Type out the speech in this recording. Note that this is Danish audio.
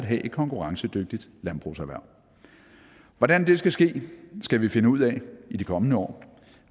have et konkurrencedygtigt landbrugserhverv hvordan det skal ske skal vi finde ud af i de kommende år